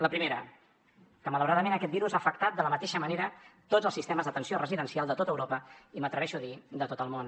la primera que malauradament aquest virus ha afectat de la mateixa manera tots els sistemes d’atenció residencial de tot europa i m’atreveixo a dir de tot el món